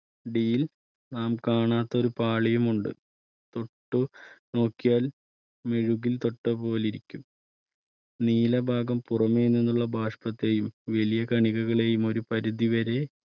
അടിയിൽ നാം കാണാത്ത ഒരു പാളിയും ഉണ്ട് തൊട്ടു നോക്കിയാൽ മെഴുകിൽ തൊട്ടപോലിരിക്കും. നീല ഭാഗം പുറമേ നിന്നുള്ള ബാഷ്പത്തെയും വലിയ കണികകളെയും ഒരു പരിധി വരെ